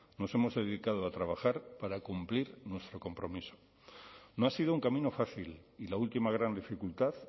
nos hemos dedicado a trabajar para cumplir nuestro compromiso no ha sido un camino fácil y la última gran dificultad